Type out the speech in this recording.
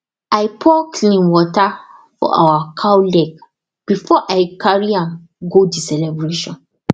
i pour clean water for our cow leg before i carry am go the celebration